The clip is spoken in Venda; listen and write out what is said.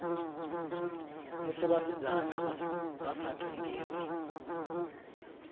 musi vhasidzana vha sa tendelwi